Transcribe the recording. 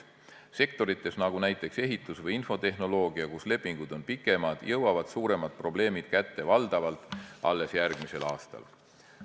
Sellistes sektorites nagu näiteks ehitus- või infotehnoloogia, kus lepingud on pikemad, jõuavad suuremad probleemid kätte valdavalt alles järgmisel aastal.